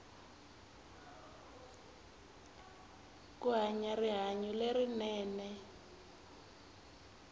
ku hanya rihanyu lerinene